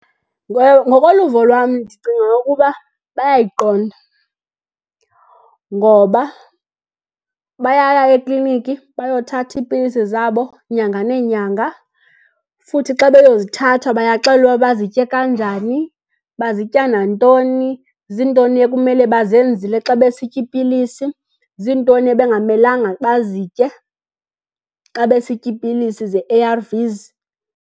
Ngokoluvo lwam ndicinga ukuba bayayiqonda. Ngoba bayaya ekliniki bayothatha iipilisi zabo nyanga nenyanga. Futhi xa beyozithatha bayaxelelwa uba bazitye kanjani, bazitya nantoni, zintoni ekumele bazenzile xa besitya iipilisi, zintoni ebengamelanga bazitye xa besitya iipilisi ze-A_R_Vs.